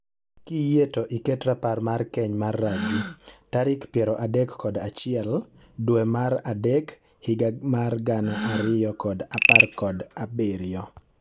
Kiyie to iket rapar mar keny mar Raju tarik piero adek kod achiel dwe mar adek higa mar gana ariyo kod apar kod abirio